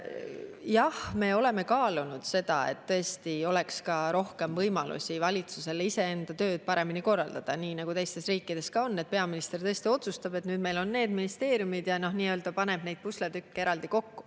Jah, me oleme kaalunud seda, kas tõesti oleks valitsusel rohkem võimalusi iseenda tööd paremini korraldada nii, nagu teistes riikides on, et peaminister otsustab, et nüüd meil on need ministeeriumid, ja paneb neid pusletükke eraldi kokku.